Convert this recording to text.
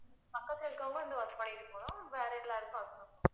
பக்கத்துல இருக்கறவங்க வந்து பண்ணிட்டு போகணும் வேற எல்லாருக்கும் work from home